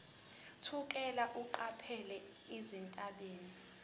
thukela eqaphela izethameli